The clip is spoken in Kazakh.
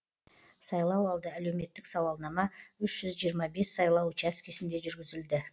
сайлауалды әлеуметтік сауалнама үш жүз жиырма бес сайлау учаскесінде жүргізілді